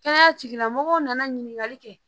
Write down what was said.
Kɛnɛya tigilamɔgɔw nana ɲininkali kɛ